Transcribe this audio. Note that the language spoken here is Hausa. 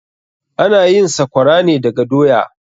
Ana yin sakwara ne daga doya.